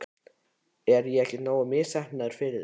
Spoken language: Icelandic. Er ég ekki nógu misheppnaður fyrir þig?